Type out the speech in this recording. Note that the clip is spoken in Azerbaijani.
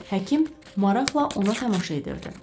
Həkim maraqla ona tamaşa edirdi.